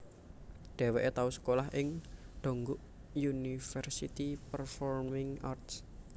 Dheweke tau sekolah ing Dongguk University Performing Arts